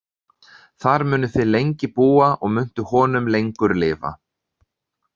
Þar munuð þið lengi búa og muntu honum lengur lifa.